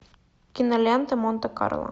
кинолента монте карло